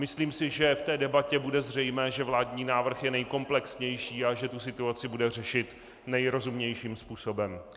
Myslím si, že v té debatě bude zřejmé, že vládní návrh je nejkomplexnější a že tu situaci bude řešit nejrozumnějším způsobem.